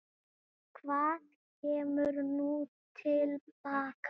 Hvað kemur nú til baka?